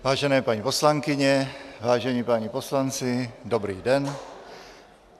Vážené paní poslankyně, vážení páni poslanci, dobrý den.